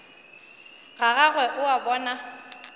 ga gagwe o a bona